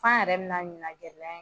An yɛrɛ